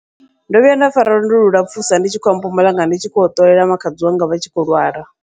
Ndo vhuya nda fara lwendo lu lapfhusa, ndi tshi khou ya Mpumalanga ndi tshi khou ya u ṱolela makhadzi wanga vha tshi khou lwala.